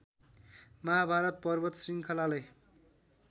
महाभारत पर्वत श्रृङ्खलालाई